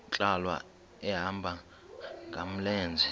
nkqwala ehamba ngamlenze